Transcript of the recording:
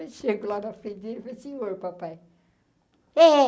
Eu chego lá na frente dele, falei senhor, papai. É